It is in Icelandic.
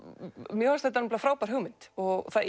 mér fannst þetta nefnilega frábær hugmynd og það